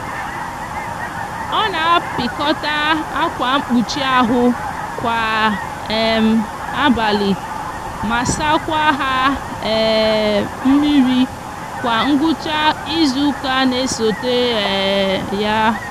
o n'apikota akwa nkpuchi ahu kwa um abali ma sakwa ha um miri kwa ngwucha izuuka n'esota um ya